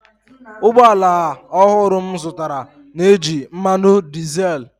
ụgbọ ala ọhụrụ m zụtara na-eji mmanụ dizel